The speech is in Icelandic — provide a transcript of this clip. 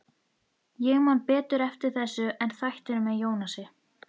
Ég man betur eftir þessu en þættinum með Jónasi.